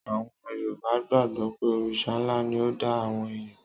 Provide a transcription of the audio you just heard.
Àwon Yorùbá gbàgbọ́ pé Òrìṣà ńlá ni ó dá àwọn èèyàn.